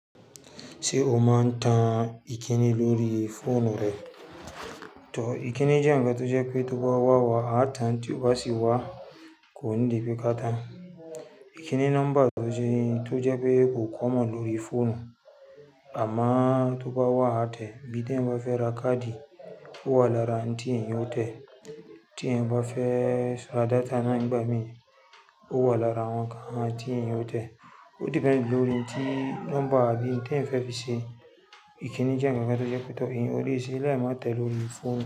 Ṣé o máa ń tan ìkínii lórí fóònù rẹ? Tan, ìkíni jẹ́ ǹkan tó jẹ́ pé tó bá wà wá a tan tí o bá sì wà kò n de ibikan kan. Ìkíni nọ́mbà tò jẹ́ pé common lórí fóònù, àmoo tó bá wà a tẹ. Bí tẹ yan bá fẹ́ ra káàdì, ó wà lára ń tí èyan ó tẹ. Tí ẹ̀yan bá fẹ́ ra data náà nìgbà mí, ó wà lára wọ́n nnkan ti ẹ̀yan o tẹ. Ó depend lórí n ti nọ́mbà bí n tẹ̀ yan fi ṣe. Ìkíni jẹ́ ǹkankan tó jẹ́ pé tó ẹ̀yan ó le se, lai má tẹ lórí fóònù.